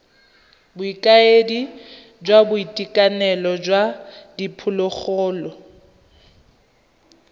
bokaedi jwa boitekanelo jwa diphologolo